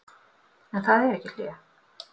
En það er ekki hlé.